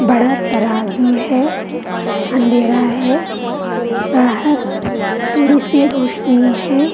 बड़ा तराजू है अँधेरा है बाहर थोड़ी सी रोशनी है।